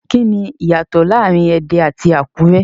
Kini iyato laarin Ede ati Akure?